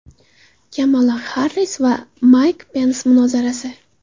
Kamala Xarris va Mayk Pens munozarasi.